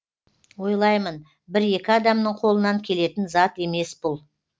ойлаймын бір екі адамның қолынан келетін зат емес бұл